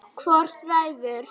Hvor ræður?